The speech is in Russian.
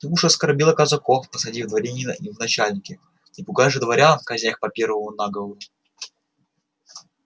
ты уж оскорбил казаков посадив дворянина им в начальники не пугай же дворян казня их по первому наговору